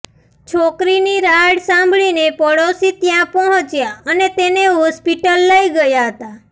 છોકરીની રાડ સાંભળીને પાડોશી ત્યાં પહોંચ્યા અને તેને હોસ્પિટલ લઇ ગયા હતા